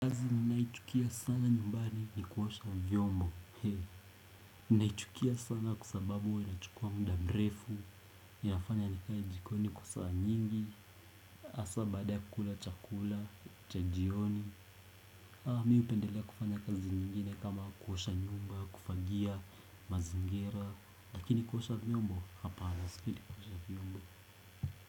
Naichukia sana nyumbani ni kuosha vyombo. Naichukia sana kwa sababu huwa inachukua muda mrefu. Inafanya nikae jikoni kwa saa nyingi hAsa baada ya kukula chakula, cha jioni mimi hupendelea kufana kazi nyingine kama kuosha nyumba, kufagia, mazingira. Lakini kuosha vyombo hapana sipendi kuosha vyombo.